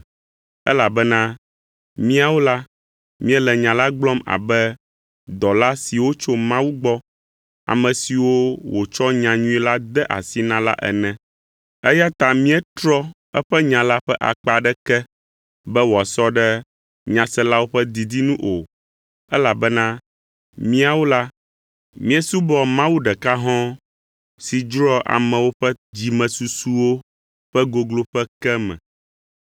elabena míawo la míele nya la gblɔm abe dɔla siwo tso Mawu gbɔ, ame siwo wòtsɔ nyanyuie la de asi na la ene; eya ta míetrɔ eƒe nya la ƒe akpa aɖeke be wòasɔ ɖe nyaselawo ƒe didi nu o elabena míawo la, míesubɔa Mawu ɖeka hɔ̃ɔ si dzroa amewo ƒe dzimesusuwo ƒe gogloƒe ke me.